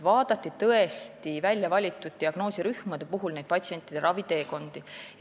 Väljavalitud diagnoosirühmades vaadati patsientide raviteekondi.